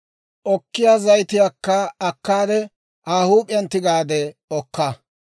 Okkiyaa zayitiyaakka akkaade, Aa huup'iyaan tigaade okka.